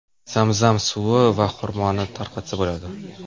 Zam-zam suvi va xurmoni tarqatsa bo‘ladi.